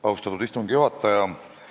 Austatud istungi juhataja!